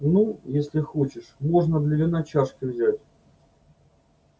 ну если хочешь можно для вина чашки взять